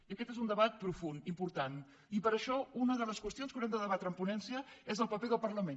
i aquest és un debat profund important i per això una de les qüestions que haurem de debatre en ponència és el paper del parlament